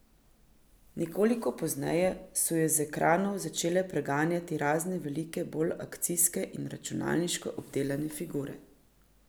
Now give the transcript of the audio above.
Nekoliko pozneje so ju z ekranov začele preganjati razne veliko bolj akcijske in računalniško obdelane figure.